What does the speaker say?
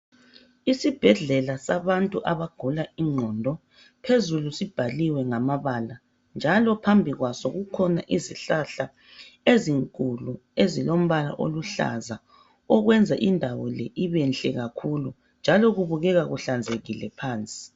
Isibhedlela sabantu abagula iqondo, phezulu sibhaliwe ngamabala. Njalo phambi kwaso kukhona izihlahla ezinkulu ezilombala oluhlaza. Okwenza indawo le ibenhle kakhulu, njalo kubukeka kuhlanzekile phansi.